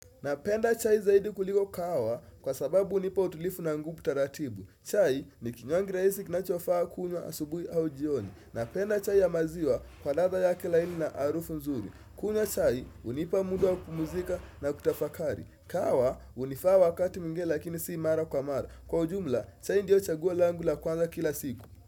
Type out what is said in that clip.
Napenda chai zaidi kuliko kahawa kwa sababu unipa utulifu na ngupu taratibu. Chai ni kinywangi raisi kinachofaa kunywa asubui au jioni. Napenda chai ya maziwa kwa ladha yake laini na arufu nzuri. Kunywa chai unipa muda wa kupumzika na kutafakari. Kahawa unifaa wakati mwingine lakini si mara kwa mara. Kwa ujumla chai ndio chaguo langu la kwanza kila siku.